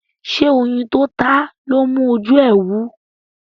ṣe oyin tó táa lọ mú oju e wú?